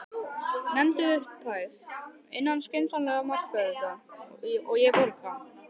Nefndu upphæð, innan skynsamlegra marka auðvitað, og ég borga.